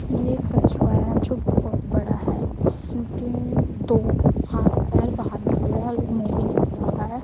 ये एक कछुआ है जो बहोत बड़ा है इसके दो हाथ पैर बाहर निकले हुए है और एक मुँह भी निकला हुआ है।